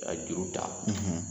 K'a juru fa